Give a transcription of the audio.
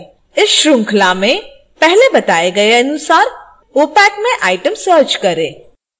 इस श्रृंखला में पहले बताए गए अनुसार opac में item search करें